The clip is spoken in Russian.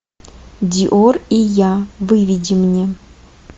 диор и я выведи мне